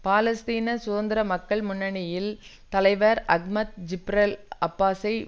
பாலஸ்தீன சுதந்திர மக்கள் முன்னணியின் தலைவர் அஹ்மத் ஜிப்ரெல் அப்பாஸை